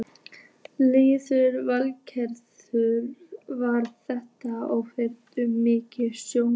Lillý Valgerður: Var þetta óvenju mikill snjór?